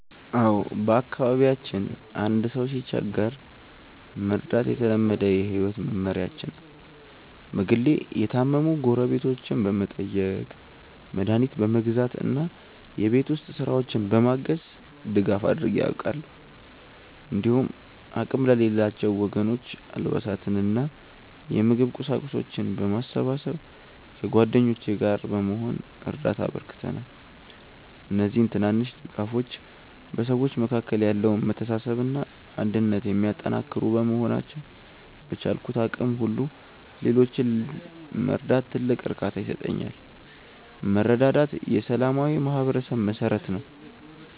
አዎ፣ በአካባቢያችን አንድ ሰው ሲቸገር መርዳት የተለመደ የህይወት መመሪያችን ነው። በግሌ የታመሙ ጎረቤቶችን በመጠየቅ፣ መድኃኒት በመግዛት እና የቤት ውስጥ ስራዎችን በማገዝ ድጋፍ አድርጌ አውቃለሁ። እንዲሁም አቅም ለሌላቸው ወገኖች አልባሳትንና የምግብ ቁሳቁሶችን በማሰባሰብ ከጓደኞቼ ጋር በመሆን እርዳታ አበርክተናል። እነዚህ ትናንሽ ድጋፎች በሰዎች መካከል ያለውን መተሳሰብና አንድነት የሚያጠናክሩ በመሆናቸው፣ በቻልኩት አቅም ሁሉ ሌሎችን መርዳት ትልቅ እርካታ ይሰጠኛል። መረዳዳት የሰላማዊ ማህበረሰብ መሠረት ነው።